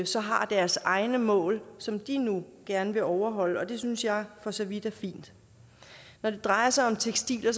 så har deres egne mål som de nu gerne vil overholde og det synes jeg for så vidt er fint når det drejer sig om tekstiler